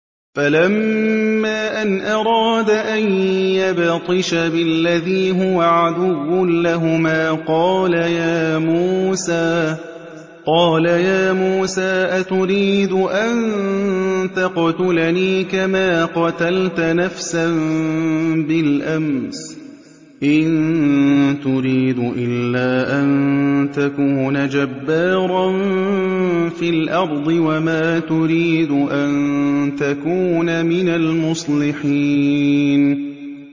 فَلَمَّا أَنْ أَرَادَ أَن يَبْطِشَ بِالَّذِي هُوَ عَدُوٌّ لَّهُمَا قَالَ يَا مُوسَىٰ أَتُرِيدُ أَن تَقْتُلَنِي كَمَا قَتَلْتَ نَفْسًا بِالْأَمْسِ ۖ إِن تُرِيدُ إِلَّا أَن تَكُونَ جَبَّارًا فِي الْأَرْضِ وَمَا تُرِيدُ أَن تَكُونَ مِنَ الْمُصْلِحِينَ